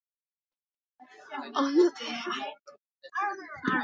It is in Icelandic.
Ónotaðir varamenn: Hermann aðalgeirsson, Jóhann Sigurðsson, Freyr Guðlaugsson, Arnar Úlfarsson.